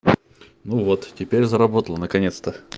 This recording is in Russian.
ну вот теперь заработало наконец-то